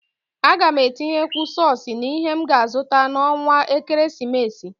A gam atinyekwu sọs n'ihe m ga azụta n'ọnwa ekeresimesi.